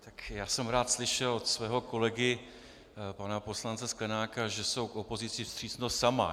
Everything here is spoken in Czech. Tak já jsem rád slyšel od svého kolegy pana poslance Sklenáka, že jsou k opozici vstřícnost sama.